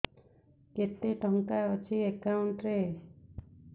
କେତେ ଟଙ୍କା ଅଛି ଏକାଉଣ୍ଟ୍ ରେ